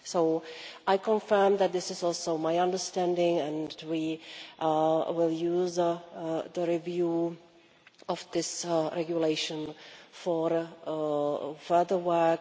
So I confirm that this is also my understanding, and we will use the review of this regulation for further work.